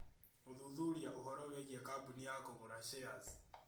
Gũthuthuria ũhoro wĩgiĩ kambũni ya kũgũra shares